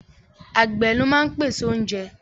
Àgbẹ̀ ló máa ń pèsè oúnjẹ